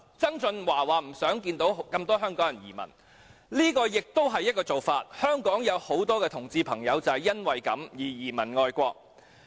曾俊華說不想看到有這麼多香港人移民，這亦是一個做法——香港有很多同志朋友就是因此移民外國。